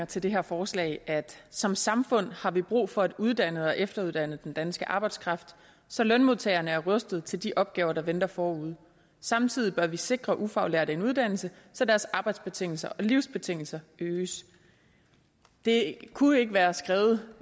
til det her forslag som samfund har vi brug for at uddanne og efteruddanne den danske arbejdskraft så lønmodtagerne er rustede til de opgaver der venter forude samtidig bør vi sikre ufaglærte en uddannelse så deres arbejdsbetingelser og livsbetingelser øges det kunne ikke være skrevet